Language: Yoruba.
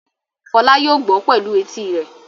Fọlá yóò gbọ́ pẹ̀lú etí rẹ̀.